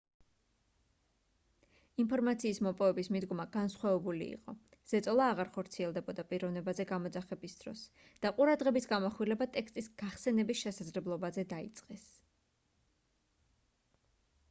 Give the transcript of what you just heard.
ინფორმაციის მოპოვების მიდგომა განსხვავებული იყო ზეწოლა აღარ ხორციელდებოდა პიროვნებაზე გამოძახების დროს და ყურადღების გამახვილება ტექსტის გახსენების შესაძლებლობაზე დაიწყეს